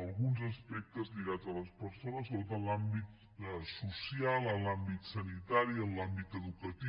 alguns aspectes lligats a les persones sobretot en l’àmbit social en l’àmbit sanitari en l’àmbit educatiu